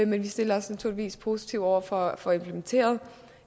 men vi stiller os naturligvis positive over for at få implementeret